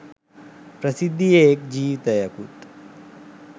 ප්‍රසිද්ධියේ එක් ජීවිතයකුත්